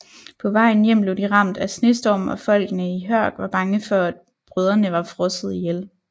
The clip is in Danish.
På vejen hjem blev de ramt af snestorm og folkene i Hørg var bange for at brødrene var frosset ihjel